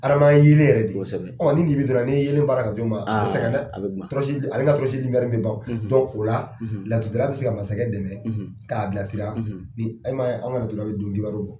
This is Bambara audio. Hadama ye yelen yɛrɛ de nin dibi dɔn na ni yelen baara ka d'u ma a bɛ sɛgɛn dɛ tɔrɔsi a le ka tɔrɔsi bɛ ban o la laturudala bɛ se ka masakɛ dɛmɛ k'a bilasira ni i man ye an ka laturudala bɛ don d'i ma.